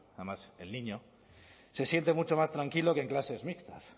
además el niño se siente mucho más tranquilo que en clases mixtas